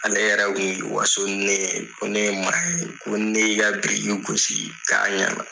Ale yɛrɛ kun b'i waso ni ne ye, ko ne ye maa ye, ko ni ne y'i ka i ka biriki gosi k''a ɲɛna..